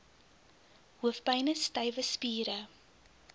hoofpyne stywe spiere